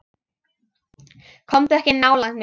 Komdu ekki nálægt mér.